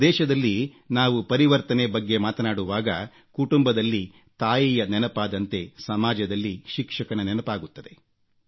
ನಮ್ಮ ದೇಶದಲ್ಲಿ ನಾವು ಪರಿವರ್ತನೆ ಬಗ್ಗೆ ಮಾತನಾಡುವಾಗ ಕುಟುಂಬದಲ್ಲಿ ತಾಯಿಯ ನೆನಪಾದಂತೆ ಸಮಾಜದಲ್ಲಿ ಶಿಕ್ಷಕನ ನೆನಪಾಗುತ್ತದೆ